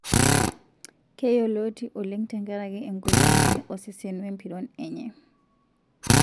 Keiyoloti oleng tenkaraki engolon enye osesen wempiron enye.